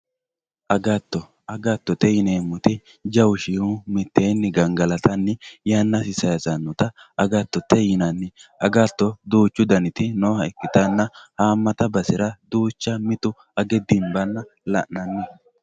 agato agattote yineemmoti jawu shiimu mitteeni gangalatanni yannasi sayiisannita agattote yinanni agatto duuchu daniti nooha ikkanna haammata basera duucha mitu age dinabanna la'nanni